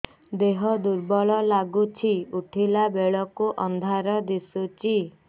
ଦେହ ଦୁର୍ବଳ ଲାଗୁଛି ଉଠିଲା ବେଳକୁ ଅନ୍ଧାର ଦିଶୁଚି